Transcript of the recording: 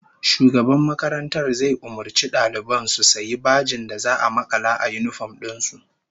Shugaban makarantar zai umurci daliban su sayi bajen da za'a makala a yinifom din su